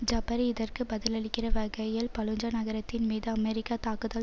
ஜபரி இதற்கு பதிலளிக்கிற வகையில் பலூஜா நகரத்தின் மீது அமெரிக்க தாக்குதல்